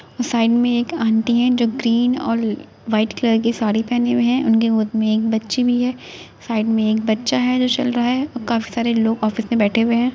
Side में एक aunty हैं जो ग्रीन और व्हाइट कलर की साड़ी पहने हुए हैं। उनके गोद में एक बच्ची भी है। साइड में एक बच्चा है जो चल रहा है और काफी सारे लोग ऑफिस में बैठे हुए हैं।